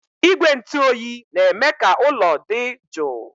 Igwe ntụ oyi na-eme ka ụlọ dị jụụ